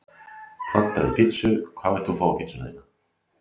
Pantaði pizzu Hvað vilt þú fá á pizzuna þína?